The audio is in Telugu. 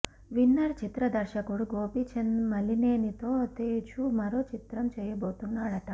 విన్నర్ చిత్ర దర్శకుడు గోపీచంద్ మలినేనితో తేజు మరో చిత్రం చేయబోతున్నాడట